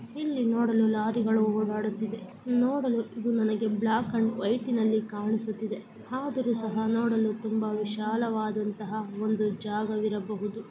ಇಲ್ಲಿ ನೋಡಲು ಲಾರಿಗಳು ಓಡಾಡುತ್ತಿವೆ ನೋಡಲು ನನಗೆ ಇದು ಬ್ಲಾಕ್ ಅಂಡ್ ವೈಟ್ ಅಲ್ಲಿ ಕಾಣಿಸುತ್ತಿದೆ .ಆದರೂ ಸಹ ನೋಡಲು ತುಂಬಾ ವಿಶಾಲ ವಾಗಿರುವಂತಹ ಜಾಗ ವಿರಬಹುದು .